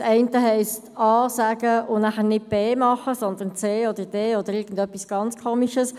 Das eine heisst A sagen und dann nicht B machen, sondern C oder D oder irgendetwas ganz Merkwürdiges.